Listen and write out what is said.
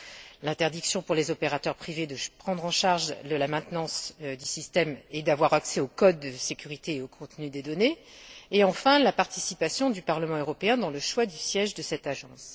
Puis, l'interdiction pour les opérateurs privés de prendre en charge la maintenance des systèmes et d'avoir accès aux codes de sécurité et au contenu des données et, enfin, la participation du Parlement européen au choix du siège de cette agence.